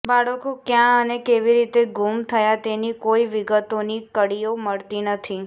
બાળકો કયાં અને કેવી રીતે ગૂમ થયા તેની કોઈ વિગતોની કડીઓ મળતી નથી